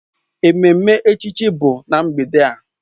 Ememme echichi bụ na mgbede a.